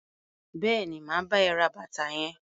Bẹẹni, ma bá ẹ ra bàtà yẹn.